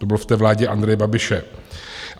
To bylo v té vládě Andreje Babiše.